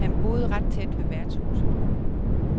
Han boede ret tæt ved værtshuset.